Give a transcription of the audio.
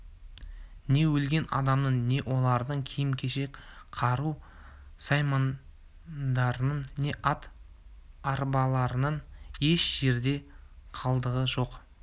не өлген адамның не олардың киім-кешек қару-саймандарының не ат-арбаларының еш жерде қалдығы жоқ